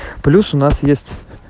плюс у нас есть